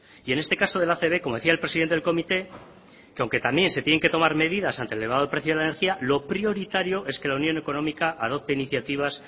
y en este caso de la acb como decía el presidente del comité que aunque también se tienen que tomar medidas ante el elevado precio de la energía lo prioritario es que la unión económica adopte iniciativas